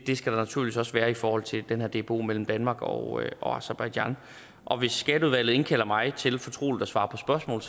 det skal der naturligvis også være i forhold til den her dbo mellem danmark og og aserbajdsjan og hvis skatteudvalget indkalder mig til fortroligt at svare på spørgsmål